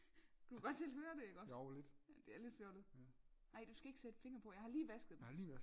Du kan godt selv høre det ikke også ja det er lidt fjollet nej du skal ikke sætte fingre på jeg har lige vasket dem